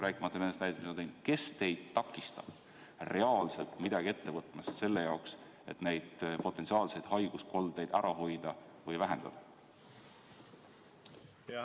Kes on teid takistanud reaalselt midagi ette võtta selle jaoks, et neid potentsiaalseid haiguskoldeid ära hoida või vähendada?